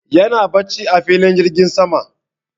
yana barci a filin jirgin sama